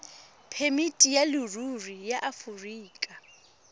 phemiti ya leruri ya aforika